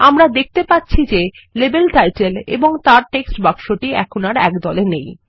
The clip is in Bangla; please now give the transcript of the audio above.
আমরা দেখতে পাচ্ছিযে লেবেল টাইটেল এবং তার টেক্সট বাক্সটি এখন আর এক দলে নেই